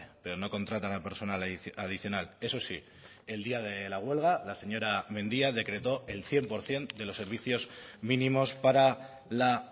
pero no contratan a personal adicional eso sí el día de la huelga la señora mendia decretó el cien por ciento de los servicios mínimos para la